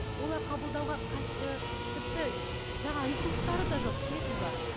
олар қабылдауға ы тіпті жаңағы ресурстары да жоқ түсінесіз бе